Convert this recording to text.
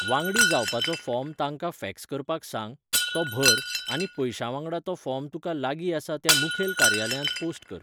वांगडी जावपाचो फॉर्म तांकां फॅक्स करपाक सांग, तो भर, आनी पयशांवांगडा तो फॉर्म तुका लागीं आसा त्या मुखेल कार्यालयांत पोस्ट कर.